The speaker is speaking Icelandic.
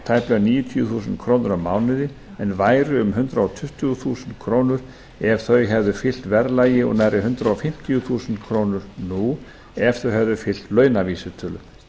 tæplega níutíu þúsund krónur á mánuði en væru um hundrað tuttugu þúsund krónur ef þau hefðu fylgt verðlagi og nærri hundrað fimmtíu þúsund krónur nú ef þau hefðu fylgt launavísitölu